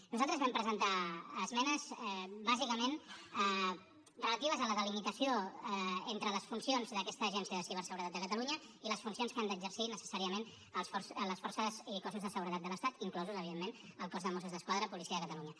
nosaltres vam presentar esmenes bàsicament relatives a la delimitació entre les funcions d’aquesta agència de ciberseguretat de catalunya i les funcions que han d’exercir necessàriament les forces i cossos de seguretat de l’estat inclòs evidentment el cos de mossos d’esquadra policia de catalunya